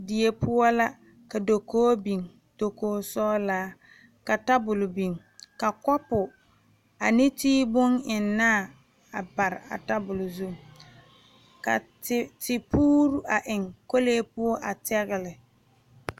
Die poɔ ka dakoo biŋ dakoo sɔgelaa ka tabole biŋ ka kɔpo ane tii bon eŋ naa dɔgele a tabol zu ka te te puure a eŋ kɔlee poɔ a biŋ yaga lɛ